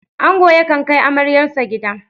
Angon yakan kai amaryarsa gida.